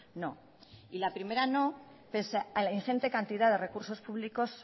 no y la primera no pese a la ingente cantidad de recursos públicos